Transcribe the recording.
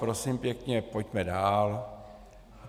Prosím pěkně, pojďme dál.